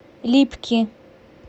липки